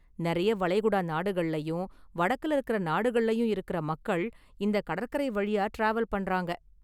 நிறைய​ வளைகுடா நாடுகள்ளயும், வடக்குல இருக்கற​ நாடுகள்ளயும் இருக்கிற மக்கள் இந்த​ கடற்கரை வழியாக​ டிராவல் பண்றாங்க​.